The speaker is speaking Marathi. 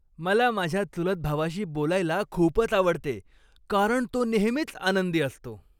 मला माझ्या चुलत भावाशी बोलायला खूपच आवडते, कारण तो नेहमीच आनंदी असतो.